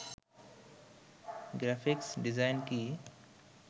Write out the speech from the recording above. graphics design কি